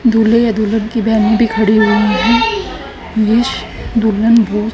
दूल्हे या दुल्हन की बहन भी खड़ी हुई है दुल्हन हो--